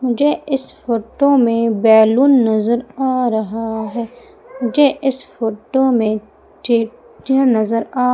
मुझे इस फोटो में बैलून नजर आ रहा है मुझे इस फोटो में नजर आ--